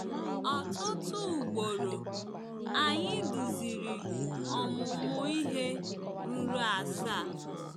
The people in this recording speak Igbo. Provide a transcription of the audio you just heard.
Ọtụtụ ugboro, anyị duziri ọmụmụ ihe ruru asaa.